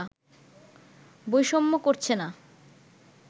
বৈষম্য করছে না